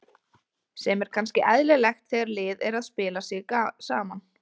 Sem er kannski eðlilegt þegar lið er að spila sig saman.